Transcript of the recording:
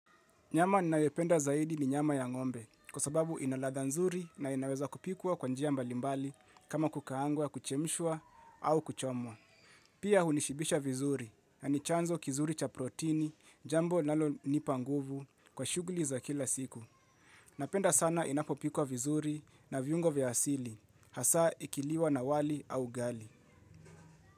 Nyama ninayopenda zaidi ni nyama ya ng'ombe kwa sababu ina ladha nzuri na inaweza kupikwa kwa njia mbalimbali kama kukaang'wa, kuchemshwa au kuchomwa. Pia hunishibisha vizuri na ni chanzo kizuri cha protini jambo linalo nipa nguvu kwa shughuli za kila siku. Napenda sana inapopikwa vizuri na viungo vya asili hasa ikiliwa na wali au ugali.